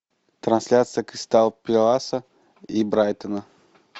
трансляция кристал пэласа и брайтона